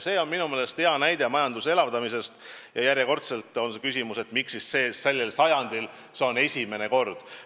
See on minu meelest hea näide majanduse elavdamisest ja järjekordselt on küsimus, miks siis sellel sajandil see on esimene kord.